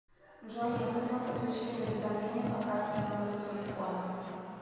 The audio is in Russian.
джой необходимо подключение уведомления по карте к номеру телефона